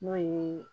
N'o ye